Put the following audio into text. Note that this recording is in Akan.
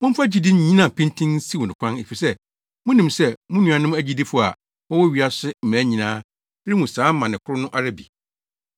Momfa gyidi nnyina pintinn nsiw no kwan efisɛ munim sɛ mo nuanom agyidifo a wɔwɔ wiase mmaa nyinaa rehu saa amane koro no ara bi.